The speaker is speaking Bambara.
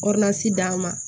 d'a ma